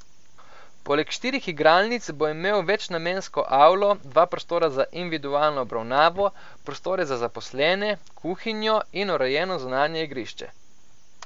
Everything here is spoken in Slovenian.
Poleg štirih igralnic bo imel večnamensko avlo, dva prostora za individualno obravnavo, prostore za zaposlene, kuhinjo in urejeno zunanje igrišče.